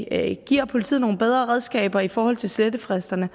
at vi giver politiet nogle bedre redskaber i forhold til slettefristerne